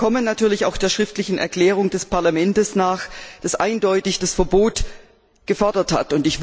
Wir kommen natürlich auch der schriftlichen Erklärung des Parlaments nach, das eindeutig das Verbot gefordert hat.